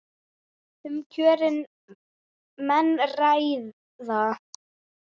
Um kjörin menn ræða.